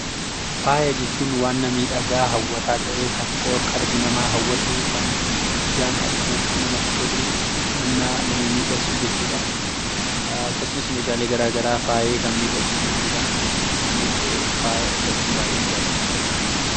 Faaya jechuun wanna miidhagaa hawwataa ta'e, kan qor-qalbii namaa hawwatu, kan ijaan arguuf namatti tolu, wanna nama miidhagsu jechuudha. Akkasumas meeshaalee garaa garaa faayee kan miidhagsu jechuudha. Anis faaya uffachuu baay'een jaaladha!